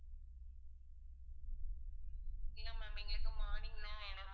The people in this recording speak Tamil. இல்ல ma'am எங்களுக்கு morning தான் வேணும்.